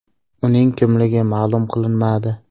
Uning kimligi ma’lum qilinmadi.